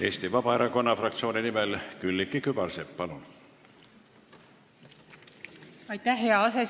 Eesti Vabaerakonna fraktsiooni nimel Külliki Kübarsepp, palun!